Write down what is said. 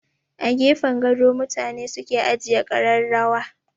A gefen gado mutane suke ajiye kararrawa.